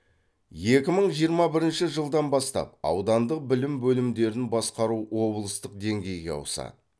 екі мың жиырма бірінші жылдан бастап аудандық білім бөлімдерін басқару облыстық деңгейге ауысады